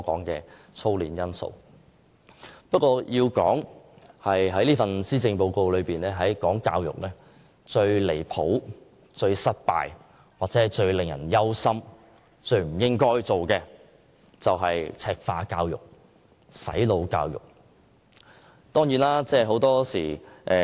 然而，要數施政報告中最離譜、最失敗、最令人憂心，以及最不應該推行的教育政策，當然是"赤化"教育和"洗腦"教育。